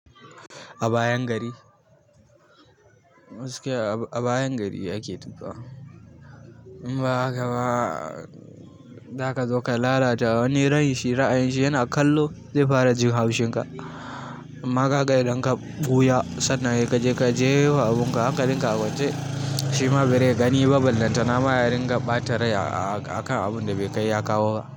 A bayan gari. Gaskiya a bayan gari ake tuƙawa ba haka ba, da ka zo ka lalata wani rai shi ra'ayin shi yana kallo zai fara ji haushin ka. Amma ka ga idan ka ɓuya sannan ya ga jefa abun ka, hankalinka a wance. Shi ma ba zai gani ba ballantana ma ya ringa ɓata rai aka abun da bai kai aka wa.